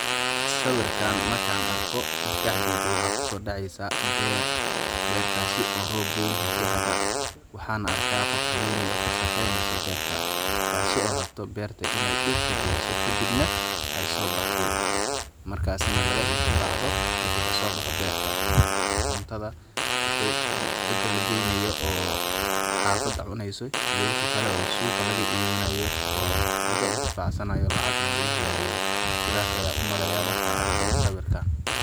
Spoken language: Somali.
Sawirkan markaan arko waxaa maskaxdeyda kusoo dhaceysa beer bertaasi oo roob weyn heshe hada waxaan arkaa qof haweneey oo ka shaqeneesa berta taasi oo rabto beerta inaay dhirta galiso kadhib nah ay sobaxdo markaasi nah laga intaacdo waxi kasoobo beerta cuntada waxii cidda la geynayo oo xafada cuneyso iyo waxii kale suuqa laga iibinayo laga intifacsanayo lacag nah laga helaayo sidaas ayaan umaleyaa markaan arko sawirkan.